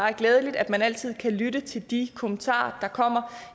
er glædeligt at man altid kan lytte til de kommentarer der kommer